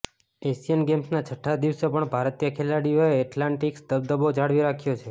Asian ગેમ્સના છઠ્ઠા દિવસે પણ ભારતીય ખેલાડીઓએ એથ્લેટિક્સમાં દબદબો જાળવી રાખ્યો છે